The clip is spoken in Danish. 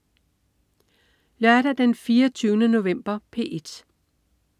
Lørdag den 24. november - P1: